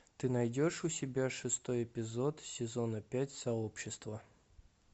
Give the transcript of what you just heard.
ты найдешь у себя шестой эпизод сезона пять сообщество